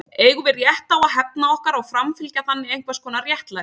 Eigum við rétt á að hefna okkar og framfylgja þannig einhvers konar réttlæti?